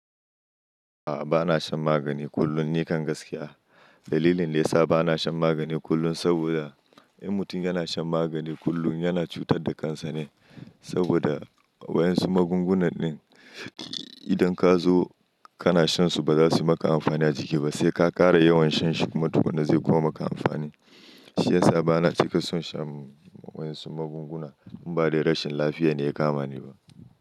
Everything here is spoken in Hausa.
A'a, bana shan magani kullum ni kan gaskiya. Dalilin da ya sa bana shan vmagani kullum saboda in mutum yana shan magani kullum yana cutar da kansa ne saboda waƴan su magungunan din idan ka zo kana shan su ba za su yi maka amfani a jiki ba, sai ka ƙara yawan shan shi kuma tukuna wani zai kuma maka amfani. Shi ya sa bana cika son shan waƴan su magunguna in ba dai rashin lafiya ne ya kama ni ba.